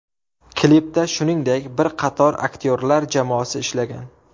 Klipda shuningdek, bir qator aktyorlar jamoasi ishlagan.